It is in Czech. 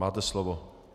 Máte slovo.